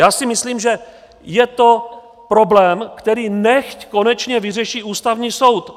Já si myslím, že je to problém, který nechť konečně vyřeší Ústavní soud.